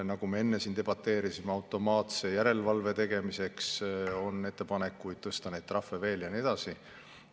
Nagu me enne siin debateerisime, automaatse järelevalve tegemiseks on ettepanek tõsta neid trahve veel ja nii edasi.